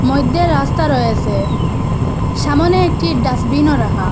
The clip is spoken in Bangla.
মইদ্যে রাস্তা রয়েসে সামনে একটি ডাস্টবিনও রাখা।